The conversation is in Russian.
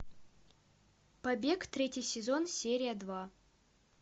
побег третий сезон серия два